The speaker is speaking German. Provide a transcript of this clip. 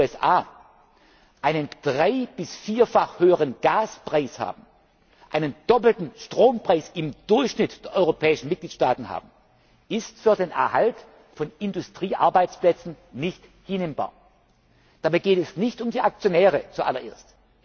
B. zu den USA einen drei bis vierfach höheren Gaspreis haben, einen doppelten Strompreis im Durchschnitt der europäischen Mitgliedstaaten haben, ist für den Erhalt der Industriearbeitsplätze nicht hinnehmbar. Dabei geht es nicht um die Aktionäre zu allererst.